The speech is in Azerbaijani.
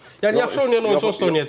Yəni yaxşı oynayan oyunçu onsuz da oynayacaq.